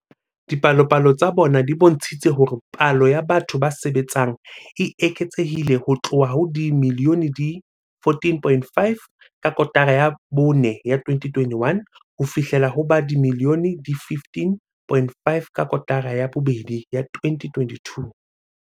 Dipalopalo tsa bona di bontshitse hore palo ya batho ba sebetsang e eketsehile ho tloha ho ba dimilione di 14.5 ka kotara ya bone ya 2021 ho fihlela ho ba dimilione di 15.5 ka kotara ya bobedi ya 2022.